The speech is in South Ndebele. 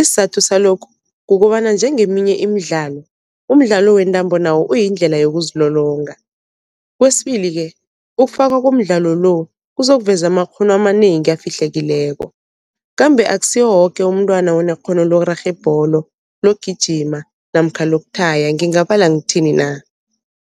isizathu salokhu kukobana njengeminye imidlalo, umdlalo wentambo nawo uyindlela yokuzilolonga. Kwesibili-ke ukufakwa komdlalo lo kuzokuveza amakghono amanengi afihlekileko, kambe akusiwo woke umntwana onekghono lokurarha ibholo, lokugijima namkha lokuthaya ngingabala ngithini na.